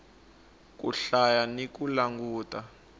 ku hlaya ni ku languta